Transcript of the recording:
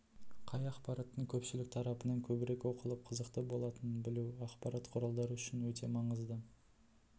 қай ақпараттың көпшілік тарапынан көбірек оқылып қызықты болатынын білу ақпарат құралдары үшін өте маңызды